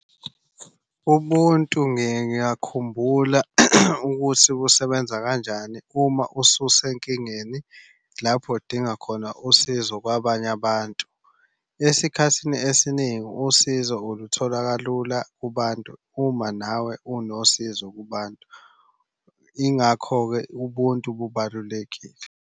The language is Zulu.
Ubuntu ngiye ngiyakhumbula ukuthi busebenza kanjani uma ususenkingeni lapho udinga khona usizo kwabanye abantu. Esikhathini esiningi usizo uluthola kalula kubantu uma nawe unosizo kubantu. Ingakho-ke ubuntu bubalulekile.